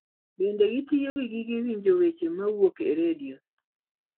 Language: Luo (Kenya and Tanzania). Bende gitiyo gi gige winjo weche mawuok e redio.